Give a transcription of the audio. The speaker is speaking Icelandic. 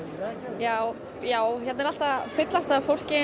já já hérna er allt að fyllast af fólki